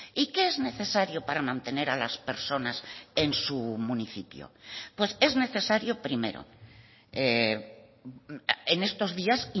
y qué es necesario para mantener a las personas en su municipio pues es necesario primero en estos días